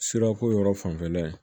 Sirako yɔrɔ fanfɛla ye